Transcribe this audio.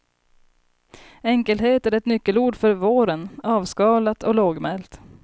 Enkelhet är ett nyckelord för våren, avskalat och lågmält.